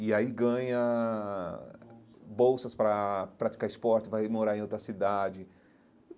E aí ganha bolsas para praticar esporte, vai morar em outra cidade.